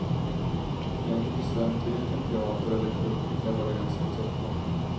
Det är inte bestämt vilken teater eller krog kabaren sätts upp på.